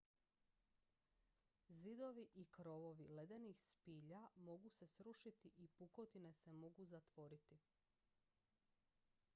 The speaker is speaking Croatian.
zidovi i krovovi ledenih spilja mogu se srušiti i pukotine se mogu zatvoriti